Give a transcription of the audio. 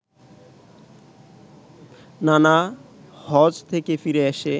নানা হজ্ব থেকে ফিরে এসে